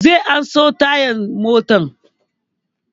Zai an so tayan motan